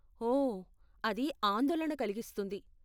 ఓ, అది ఆందోళన కలిగిస్తుంది.